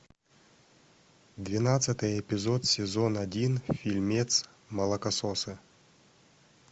двенадцатый эпизод сезон один фильмец молокососы